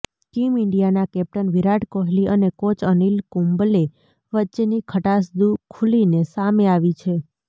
team ઈન્ડિયાના captain Virat Kohli અને coach Anil Kumble વચ્ચેની ખટાસ ખુલીને સામે આવી છે